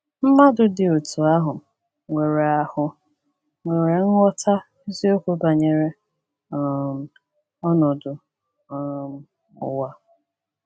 Mmadụ ndị dị otú ahụ nwere ahụ nwere nghọta eziokwu banyere um ọnọdụ um ụwa.